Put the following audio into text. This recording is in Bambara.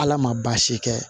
Ala ma baasi kɛ